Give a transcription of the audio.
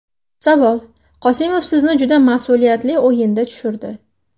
Savol: Qosimov sizni juda mas’uliyatli o‘yinda tushirdi.